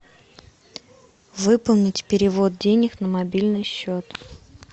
выполнить перевод денег на мобильный счет